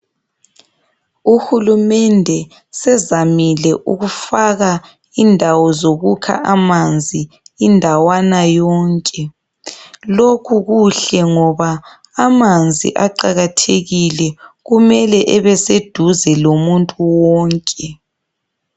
Uhulumende sezamile ukufaka indawo zokukha amanzi indawana yonke. Lokhu kuhle ngoba amanzi aqakathekile kumele ebe seduze lomuntu wonke.